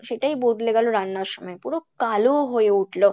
সেটাই বদলে গেলো রান্নার সময় পুরো কালো হয়ে উঠলো